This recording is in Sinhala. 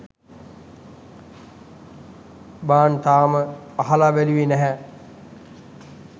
බන් තාම අහල බැලුවෙ නැහැ